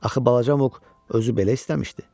Axı balaca Muq özü belə istəmişdi.